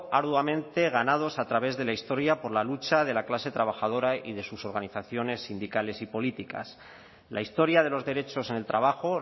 arduamente ganados a través de la historia por la lucha de la clase trabajadora y de sus organizaciones sindicales y políticas la historia de los derechos en el trabajo